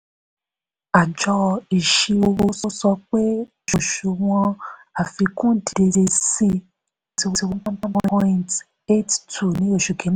àjọ iṣirò owó sọ pé òṣùwọ̀n àfikún dìde sí twenty one point eight two percent ní osù kíní.